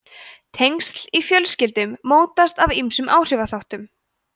tengsl í fjölskyldum mótast af ýmsum áhrifaþáttum